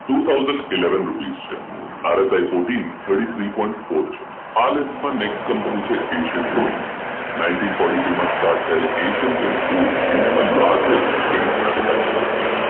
two thousand eleven rupeesRSIfourteen thirty three point four છે આ list માં નેટ કંપની છે Asian paint ninety fourteen two start Asian paint group ઇન્ડિયામાં largest paint manufacture છે